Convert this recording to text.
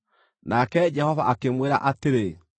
nake Jehova akĩmwĩra atĩrĩ,